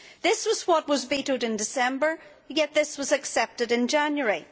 This was what was vetoed in December, yet this was accepted in January.